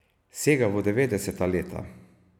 Sega v devetdeseta leta.